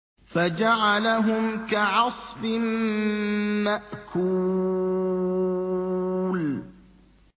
فَجَعَلَهُمْ كَعَصْفٍ مَّأْكُولٍ